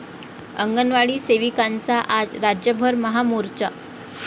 अंगणवाडी सेविकांचा आज राज्यभर महामोर्चा